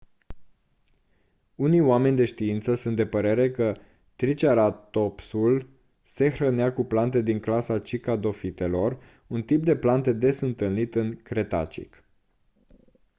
unii oameni de știință sunt de părere că triceratopsul se hrănea cu plante din clasa cycadofitelor un tip de plante des întâlnit în cretacic